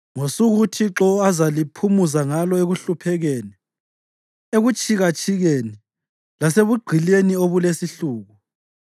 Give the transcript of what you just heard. Ngosuku uThixo azaliphumuza ngalo ekuhluphekeni, ekutshikatshikeni, lasebugqilini obulesihluku,